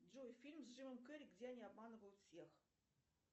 джой фильм с джимом керри где они обманывают всех